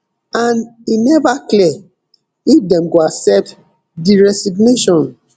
and e neva clear if dem go accept di resignation